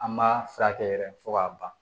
An b'a furakɛ yɛrɛ fo k'a ban